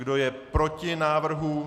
Kdo je proti návrhu?